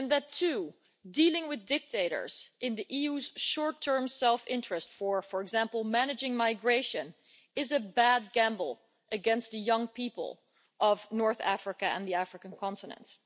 two, that dealing with dictators in the EU's short-term self-interest for, for example, managing migration, is a bad gamble against the young people of North Africa and the African continent